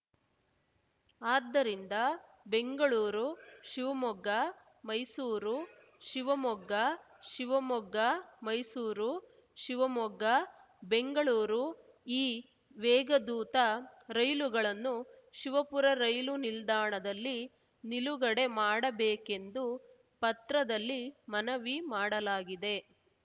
ಆದ್ದರಿಂದ ಬೆಂಗಳೂರು ಶಿವಮೊಗ್ಗ ಮೈಸೂರು ಶಿವಮೊಗ್ಗ ಶಿವಮೊಗ್ಗ ಮೈಸೂರು ಶಿವಮೊಗ್ಗ ಬೆಂಗಳೂರು ಈ ವೇಗದೂತ ರೈಲುಗಳನ್ನು ಶಿವಪುರ ರೈಲು ನಿಲ್ದಾಣದಲ್ಲಿ ನಿಲುಗಡೆ ಮಾಡಬೇಕೆಂದು ಪತ್ರದಲ್ಲಿ ಮನವಿ ಮಾಡಲಾಗಿದೆ